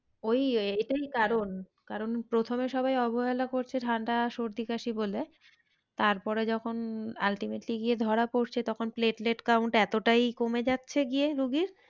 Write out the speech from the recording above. ওই এ এটাই কারণ, কারণ প্রথমে সবাই অবহেলা করছে ঠান্ডা সর্দি কাশি বলে তারপরে যখন ultimately গিয়ে ধরা পড়ছে তখন platelet count এতটাই কমে যাচ্ছে গিয়ে রুগীর,